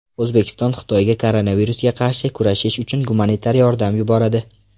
O‘zbekiston Xitoyga koronavirusga qarshi kurashish uchun gumanitar yordam yuboradi.